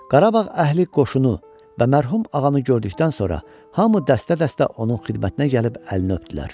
Qarabağ əhli qoşunu və mərhum ağanı gördükdən sonra hamı dəstə-dəstə onun xidmətinə gəlib əlini öpdülər.